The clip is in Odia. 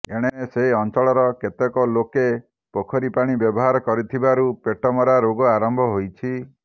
ଏଣେ ସେ ଅଂଚଳର କେତେକ ଲୋକେ ପୋଖରୀ ପାଣି ବ୍ୟବହାର କରୁଥିବାରୁ ପେଟମରା ରୋଗ ଆରମ୍ଭ ହୋଇଛି